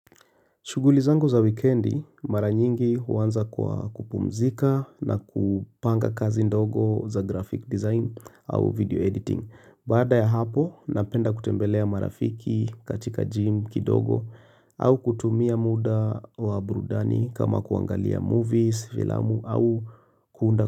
Shughuli zangu za wikendi, mara nyingi huanza kwa kupumzika na kupanga kazi ndogo za graphic design au video editing. Baada ya hapo, napenda kutembelea marafiki katika gym kidogo au kutumia muda wa burudani kama kuangalia movies, filamu au kuunda.